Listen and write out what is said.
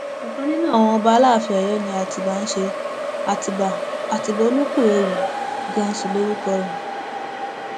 ọkan nínú àwọn ọmọọba aláàfin abiodun ni atibá ń ṣe àtibá àtibá olúkúewu ganan sí lórúkọ rẹ